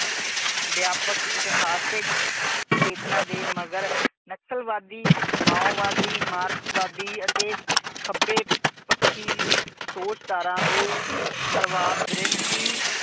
ਵਿਆਪਕ, ਇਤਹਾਸਿਕ ਚੇਤਨਾ ਦੇ ਮਗਰ ਨਕਸਲਵਾਦੀ, ਮਾਓਵਾਦੀ, ਮਾਰਸਕਵਾਦੀ ਅਤੇ ਖੱਬੇ ਪੱਖੀ ਸੋਚ ਧਾਰਾ ਦੇ ਪਰਵਾਰ ਗ੍ਰਹਿਸਤੀ